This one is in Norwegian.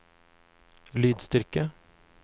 lydstyrke